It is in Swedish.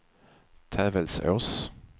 Tävelsås